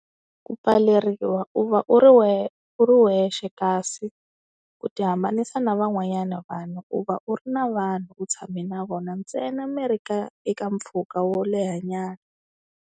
Ku pfaleriwa u va u ri u ri wexe, kasi u ti hambanisa na van'wanyana vanhu, u va u ri na vanhu u tshame na vona ntsena mi ri ka eka mpfhuka wo lehanyana.